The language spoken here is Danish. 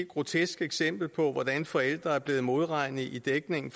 grotesk eksempel på hvordan forældre er blevet modregnet i dækningen